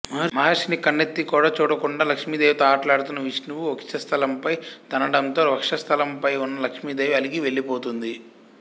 మహర్షిని కన్నెత్తి కూడా చూడకుండా లక్ష్మీదేవితో ఆటలాడుతున్న విష్ణువు వక్షస్థలంపై తన్నడంతో వక్షస్థలంపై ఉన్న లక్ష్మీదేవి అలిగి వెళ్ళిపోతుంది